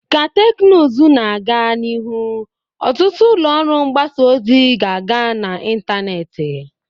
Ka teknụzụ na-aga n'ihu, ọtụtụ ụlọ ọrụ mgbasa ozi ga-aga n'ịntanetị